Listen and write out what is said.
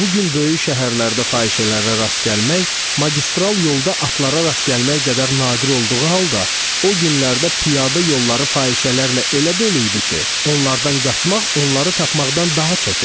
Bu gün böyük şəhərlərdə fahişələrə rast gəlmək magistral yolda atlara rast gəlmək qədər nadir olduğu halda, o günlərdə piyada yolları fahişələrlə elə dolu idi ki, onlardan qaçmaq onları tapmaqdan daha çətindir.